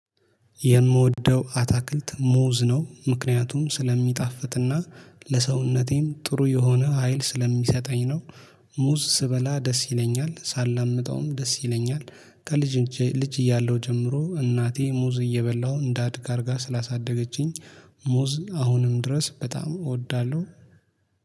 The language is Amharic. የምወደው አታክልት ሙዝ ነው ምክንያቱም ስለሚጣፍጥና ለሰውነቴም ጥሩ የሆነ ሀይል ስለሚሰጠኝ ነው። ሙዝ ስበላ ደስ ይለኛል ሳላምጠውም ደስ ይለኛል። ከልጅ ልጅ እያለሁ ጀምሮ እናቴ ሙዝ እየበላሁ እንዳድግ አድርጋ ስላሳደገችኝ። ሙዝ አሁንም ድረስ በጣም እወዳለሁ